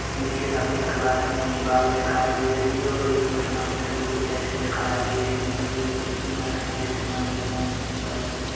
पीछे सफ़ेद कलर की दीवाल दिखाई दे रही हैं और ये कुछ मंदिरों की जैसी दिखाई दे रही हैं यह प्रतिमा हैं जैसी मंदिर मोम की बनी हो--